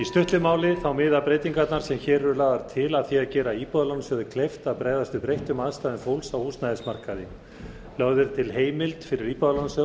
í stuttu máli miða breytingarnar sem hér eru lagðar til að því að gera íbúðalánasjóð kleift að bregðast við breyttum aðstæðum fólks á húsnæðismarkaði lögð er til heimild fyrir íbúðalánasjóð